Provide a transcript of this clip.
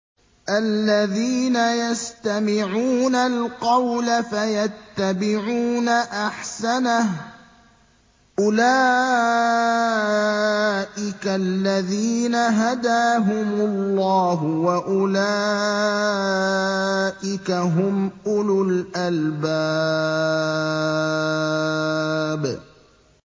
الَّذِينَ يَسْتَمِعُونَ الْقَوْلَ فَيَتَّبِعُونَ أَحْسَنَهُ ۚ أُولَٰئِكَ الَّذِينَ هَدَاهُمُ اللَّهُ ۖ وَأُولَٰئِكَ هُمْ أُولُو الْأَلْبَابِ